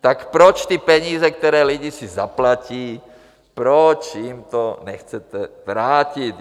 Tak proč ty peníze, které lidi si zaplatí, proč jim to nechcete vrátit?